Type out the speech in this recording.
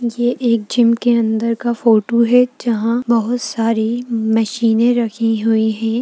यह एक जिम के अदर दर का फोटो है जहा पर बहोत सारी मशीनें रखी हुई है।